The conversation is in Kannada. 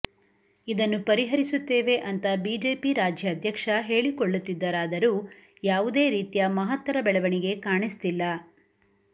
ಇದನ್ನು ಪರಿಹರಿಸುತ್ತೇವೆ ಅಂತ ಬಿಜಿಪಿ ರಾಜ್ಯಾಧ್ಯಕ್ಷ ಹೇಳಿಕೊಳ್ಳುತ್ತಿದ್ದರಾದರೂ ಯಾವುದೇ ರೀತಿಯ ಮಹತ್ತರ ಬೆಳವಣಿಗೆ ಕಾಣಿಸ್ತಿಲ್ಲ